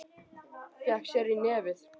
Hnakki getur átt við